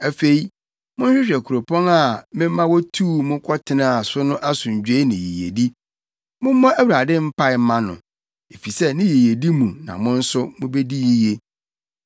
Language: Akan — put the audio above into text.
Afei, monhwehwɛ kuropɔn a mema wotuu mo kɔtenaa so no asomdwoe ne yiyedi. Mommɔ Awurade mpae mma no, efisɛ ne yiyedi mu na mo nso mubedi yiye.”